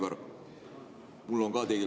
Hea Aivar!